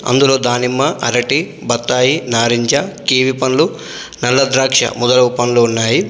అందులో దానిమ్మ అరటి బత్తాయి నారింజ కివి పండ్లు నల్ల ద్రాక్ష మొదలగు పండ్లు ఉన్నాయి.